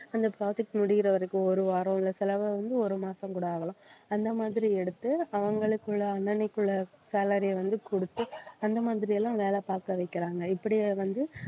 அந்த project முடியற வரைக்கும் ஒரு வாரம் இல்ல சிலவ வந்து ஒரு மாசம் கூட ஆகலாம் அந்த மாதிரி எடுத்து அவங்களுக்குள்ள அன்னனைக்குள்ள salary யை வந்து கொடுத்து அந்த மாதிரி எல்லாம் வேலை பார்க்க வைக்கிறாங்க இப்படி வந்து